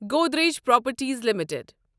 Godrej properties limited